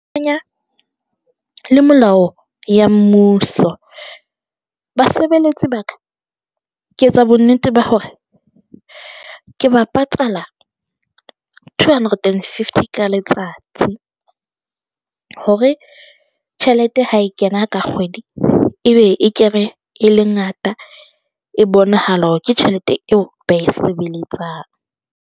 Le melao ya mmuso, basebeletsi ba ka ke etsa bonnete ba hore ke ba patala two hundred and fifty ka letsatsi hore tjhelete ha e kena ka kgwedi, e be e kene e le ngata e bonahala hore ke tjhelete eo ba e sebeletsang.